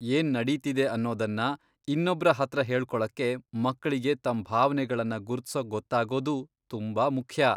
ಏನ್ ನಡೀತಿದೆ ಅನ್ನೋದನ್ನ ಇನ್ನೊಬ್ರ ಹತ್ರ ಹೇಳ್ಕೊಳಕ್ಕೆ ಮಕ್ಳಿಗೆ ತಮ್ ಭಾವ್ನೆಗಳ್ನ ಗುರುತ್ಸೋಕ್ ಗೊತ್ತಾಗೋದು ತುಂಬಾ ಮುಖ್ಯ.